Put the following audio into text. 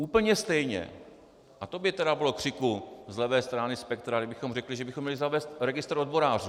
Úplně stejně - a to by tedy bylo křiku z levé strany spektra, kdybychom řekli, že bychom měli zavést registr odborářů!